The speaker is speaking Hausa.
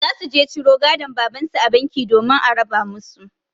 Za su je ciro gadon babansu a banki domin a raba musu.